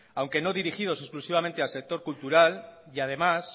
aunque no dirigidos exclusivamente al sector cultural y además